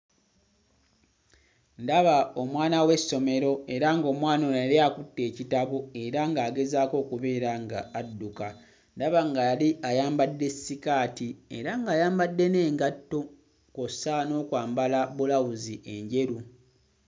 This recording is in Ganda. Ndaba omwana w'essomero era ng'omwana ono yali akutte ekitabo era ng'agezaako okubeera ng'adduka. Ndaba nga yali ayambadde sikaati era ng'ayambadde n'engatto kw'ossa n'okwambala bulawuzi enjeru.